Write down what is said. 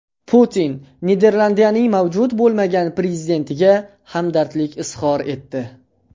Putin Niderlandiyaning mavjud bo‘lmagan prezidentiga hamdardlik izhor etdi.